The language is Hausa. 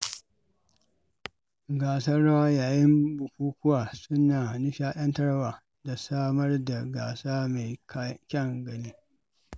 Gasar rawa yayin bukukuwa suna nishaɗantarwa da samar da gasa mai kyan gani.